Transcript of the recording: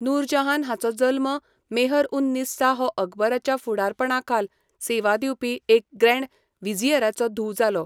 नूरजहान हाचो जल्म मेहर उन निस्सा हो अकबराच्या फुडारपणाखाल सेवा दिवपी एक ग्रँड व्हिझियराची धूव जालो.